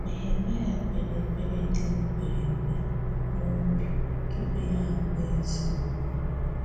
Nehemaíà kperè ekperé dị mkpirikpi n’obi tupù ya agwà ezé okwu.